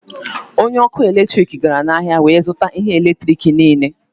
Onye ọkụ eletrik gara n'ahịa wee zụta ihe eletrik niile